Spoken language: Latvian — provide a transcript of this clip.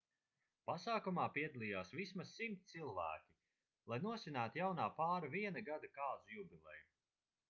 pasākumā piedalījās vismaz 100 cilvēki lai nosvinētu jaunā pāra viena gada kāzu jubileju